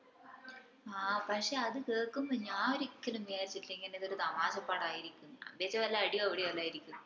ആഹ് പക്ഷെ അത് കേൾക്കുമ്പോ ഞാൻ ഒരിക്കലും വിചാരിച്ചില്ല ഇതൊരു തമാശ പടം ആരിക്കുംന്ന് ഞാൻ വിചാരിച്ഛ് വല്ല അടിയോ പിടിയോ ആരിക്കുംന്ന്